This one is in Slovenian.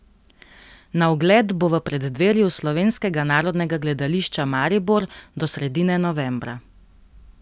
Na ogled bo v preddverju Slovenskega narodnega gledališča Maribor do sredine novembra.